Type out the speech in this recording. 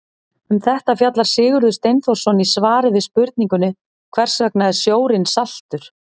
Um þetta fjallar Sigurður Steinþórsson í svari við spurningunni Hvers vegna er sjórinn saltur?